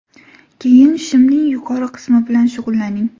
Keyin shimning yuqori qismi bilan shug‘ullaning.